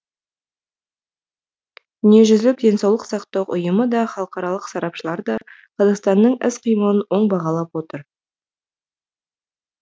дүниежүзілік денсаулық сақтау ұйымы да халықаралық сарапшылар да қазақстанның іс қимылын оң бағалап отыр